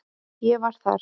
Ég var þar.